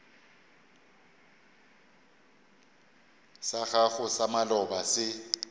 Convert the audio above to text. sa gago sa maloba se